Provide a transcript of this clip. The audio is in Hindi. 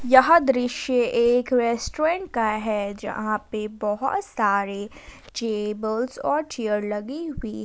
यह दृश्य एक रेस्टोरेंट का है जहां पे बहुत सारे टेबल्स और चेयर लगी हुई--